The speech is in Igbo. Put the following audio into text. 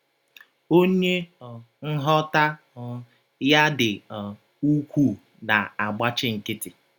“ Ọnye um nghọta um ya dị um ụkwụụ na - agbachi nkịtị. ”